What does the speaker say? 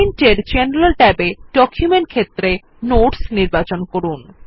print এর general ট্যাবে document ক্ষেত্রে নোটস নির্বাচন করুন